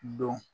Don